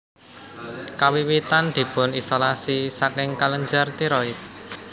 Kawiwitan dipun isolasi saking kelenjar tiroid